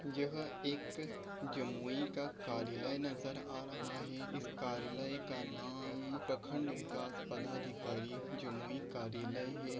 यह एक जमोई का कारीले नजर आ रहा है इस कारीले का नाम प्रखण्ड विकास पदाधिकारी जमुई कार्यालय है ।